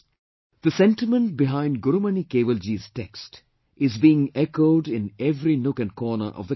" The sentiment behind Gurumani Kewalji's text is being echoed in every nook and corner of the country